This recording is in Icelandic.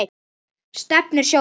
Stefnur sjóða